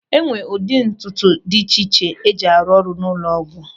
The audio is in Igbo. E nwere ụdị ntụtụ dị iche iche e ji arụ ọrụ n'ụlọ ọgwụ.